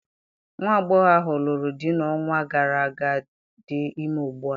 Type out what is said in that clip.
Nwa agbọghọ ahụ lụrụ di n'ọnwa gara aga dị ime ugbua.